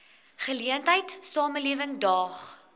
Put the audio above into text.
geleentheid samelewing daag